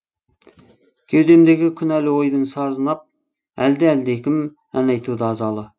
кеудемдегі күнәлі ойдың сазын ап әлде әлдекім ән айтуда азалы